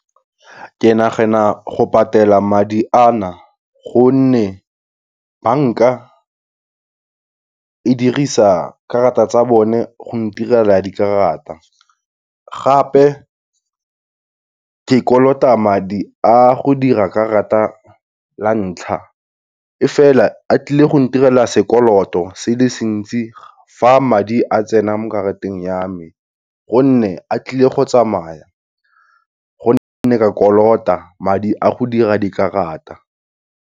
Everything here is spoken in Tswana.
Ke nagana go patela madi a na gonne bank-a e dirisa karata tsa bone go ntirela dikarata gape, ke kolota madi a go dira karata la ntlha, e fela a tlile go ntirela sekoloto se le sintsi fa madi a tsena mo karateng ya me, gonne a tlile go tsamaya gonne ke a kolota madi a go dira dikarata.